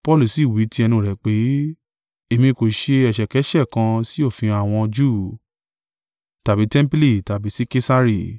Paulu si wí tí ẹnu rẹ̀ pé, “Èmi kò ṣẹ ẹ̀ṣẹ̀kẹ́ṣẹ̀ kan sì òfin àwọn Júù, tàbí tẹmpili, tàbí sí Kesari.”